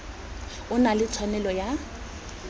o na le tshwanelo ya